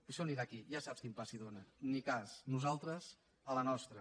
això anirà aquí ja saps quin pa s’hi dóna ni cas nosaltres a la nostra